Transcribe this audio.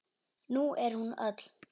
Nú er hún öll.